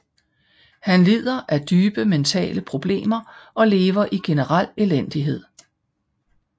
Han lider af dybe mentale problemer og lever i general elendighed